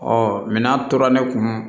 Ɔ min'a tora ne kun